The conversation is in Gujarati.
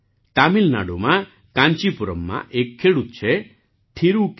તમિલનાડુમાં કાંચીપુરમમાં એક ખેડૂત છે થિરુ કે